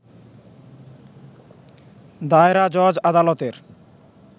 দায়রা জজ আদালতের